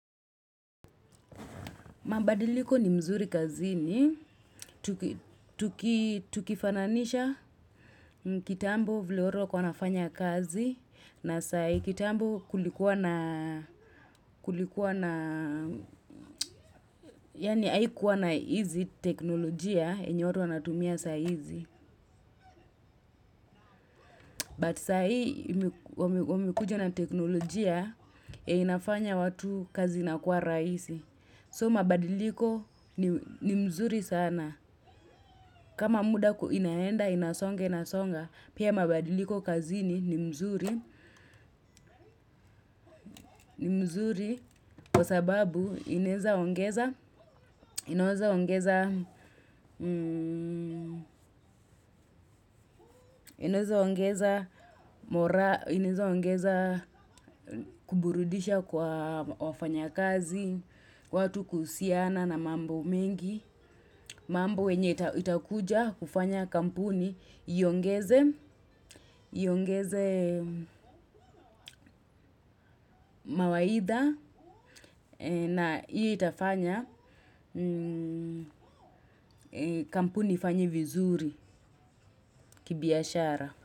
Mabadiliko ni mzuri kazini, tukifananisha kitambo vile watu wanafanya kazi, na saa kitambo kulikuwa na, kulikuwa na, yaani haikuwa na hizi teknolojia, yenye watu wanatumia saa hizi. But saa hii, wamekuja na teknolojia, yenye inafanya watu kazi inakuwa rahisi. So mabadiliko ni mzuri sana. Kama muda inaenda, inasonga, inasonga. Pia mabadiliko kazini ni mzuri. Kwa sababu inaeza inaeza ongeza ongeza kuburudisha kwa wafanya kazi, watu kuhusiana na mambo mengi. Mambo yenye itakuja kufanya kampuni iongeze mawaidha na itafanya kampuni ifanye vizuri kibiashara.